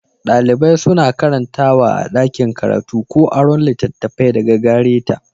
Dalibai suna karantawa a ɗakin karatu ko aron littattafai daga gare ta.